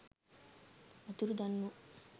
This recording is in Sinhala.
අතුරුදන් වු